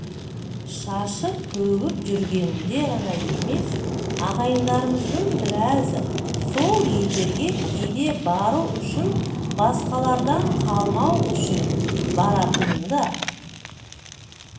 шашып-төгіп жүргенінде ғана емес ағайындарымыздың біразы сол елдерге кейде бару үшін басқалардан қалмау үшін баратынында